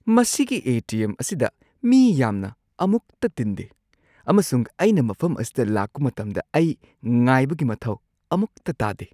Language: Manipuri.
ꯃꯁꯤꯒꯤ ꯑꯦ. ꯇꯤ. ꯑꯦꯝ. ꯑꯁꯤꯗ ꯃꯤ ꯌꯥꯝꯅ ꯑꯃꯨꯛꯇ ꯇꯤꯟꯗꯦ ꯑꯃꯁꯨꯡ ꯑꯩꯅ ꯃꯐꯝ ꯑꯁꯤꯗ ꯂꯥꯛꯄ ꯃꯇꯝꯗ ꯑꯩ ꯉꯥꯏꯕꯒꯤ ꯃꯊꯧ ꯑꯃꯨꯛꯇ ꯇꯥꯗꯦ꯫